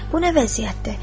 Bu nə vəziyyətdir?